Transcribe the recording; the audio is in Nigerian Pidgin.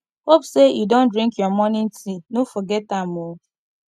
hope say you don drink your morning tea no forget am o